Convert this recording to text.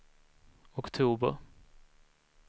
oktober